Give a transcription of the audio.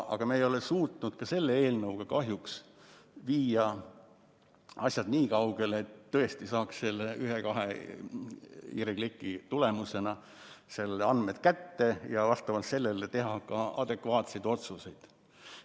Aga me ei ole suutnud ka selle eelnõuga kahjuks viia asju nii kaugele, et tõesti saaks ühe-kahe hiirekliki tulemusena andmed kätte ja vastavalt sellele saaks teha ka adekvaatseid otsuseid.